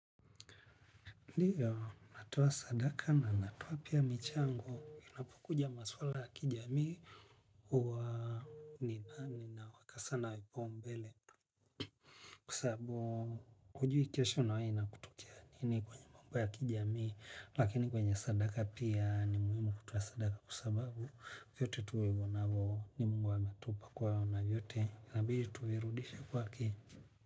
Ndiyo natoa sadaka na natoa pia michango inapokuja maswala ya kijamii huwa nina wakasana wipombele kwasabu hujui kesho na wewe inakutokea nini kwenye mamba ya kijamii lakini kwenye sadaka pia ni muhimu kutoa sadaka kwa sababu kuyote tuwego na voo ni Mungu ametupa kuwa ina vyote inabidi tuirudishe kwake.